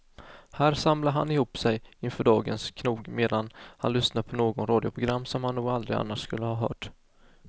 Här samlar han ihop sig inför dagens knog medan han lyssnar på något radioprogram han nog aldrig annars skulle ha hört.